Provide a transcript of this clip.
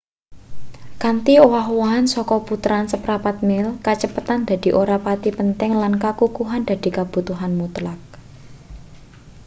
kanthi owah-owahan saka puteran seprapat mil kacepetan dadi ora pati penting lan kakukuhan dadi kabutuhan mutlak